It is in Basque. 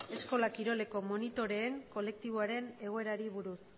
eskola kiroleko monitoreen kolektiboaren egoerari buruz